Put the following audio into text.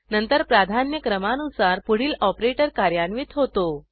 नंतर प्राधान्य क्रमानुसार पुढील ऑपरेटर कार्यान्वित होतो